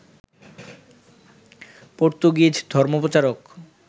Portuguese ধর্মপ্রচারক